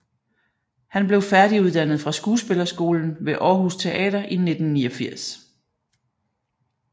Han blev færdiguddannet fra Skuespillerskolen ved Aarhus Teater i 1989